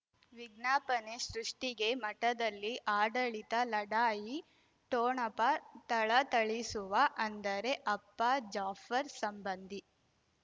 ವಿಜ್ಞಾಪನೆ ಸೃಷ್ಟಿಗೆ ಮಠದಲ್ಲಿ ಆಡಳಿತ ಲಢಾಯಿ ಠೋಣಪ ಥಳಥಳಿಸುವ ಅಂದರೆ ಅಪ್ಪ ಜಾಫರ್ ಸಂಬಂಧಿ